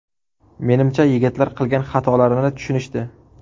Menimcha yigitlar qilgan xatolarini tushunishdi.